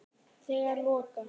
Þegar loka